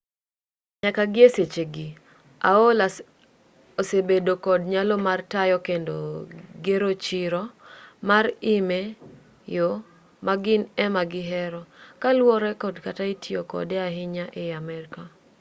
nyaka gi e sechegi aol osebedo kod nyalo mar tayo kendo gero chiro mar im e yo ma gin ema gihero kaluwore kod kaka itiyo kode ahinya ei amerka